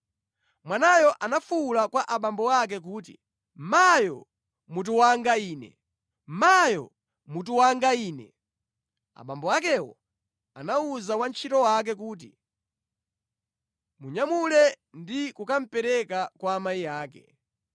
Mwanayo anafuwula kwa abambo ake kuti, “Mayo! Mutu wanga ine! Mayo! Mutu wanga ine!” Abambo akewo anawuza wantchito wake kuti, “Munyamule ndi kukamupereka kwa amayi ake.”